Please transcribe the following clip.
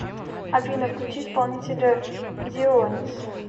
афина включи исполнителя дионис